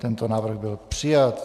Tento návrh byl přijat.